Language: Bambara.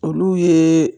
Olu ye